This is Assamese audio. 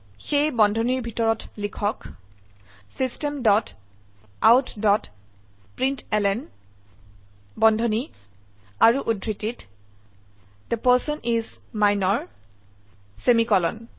সেয়ে বন্ধনীৰ ভিতৰত লিখক system dot out dot println বন্ধনী আৰু উদ্ধৃতিৰতThe পাৰ্চন ইচ মিনৰ সেমিকোলন